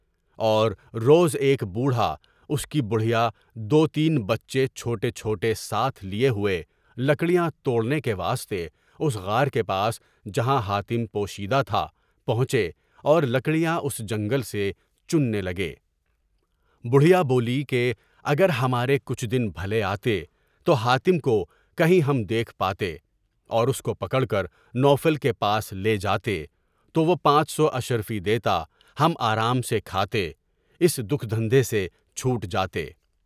اور روز ایک بوڑھا اس کی بڑھیا دو تین بچے چھوٹے چھوٹے ساتھ لیے ہوئے لکڑیاں توڑنے کے واسطے اس غار کے پاس جہاں حاتم پوشیدہ تھا، پہنچے اور لکڑیاں اس جنگل سے چننے لگا۔ بڑھیا بولی کہ اگر ہمارے کچھ دن بھلے آتے تو حاتم کو کہیں ہم دیکھ پاتے اور اس کو پکڑ کر نواب کے پاس لے جاتے تو وہ پانچ سو اشرفی دیتا، ہم آرام سے کھاتے اور اس دکھ سے چھوٹ جاتے۔